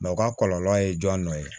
u ka kɔlɔlɔ ye jɔn dɔ ye